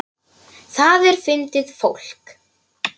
Það er fyndið fólk.